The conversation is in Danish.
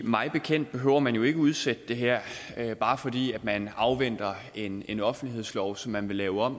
mig bekendt behøver man jo ikke at udsætte det her bare fordi man afventer en en offentlighedslov som man vil lave om